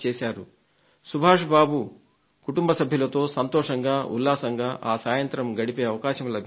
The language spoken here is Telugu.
శ్రీ సుభాష్ బాబు కుటుంబ సభ్యులతో సంతోషంగా ఉల్లాసంగా ఆ సాయంత్రం గడిపే అవకాశం లభించింది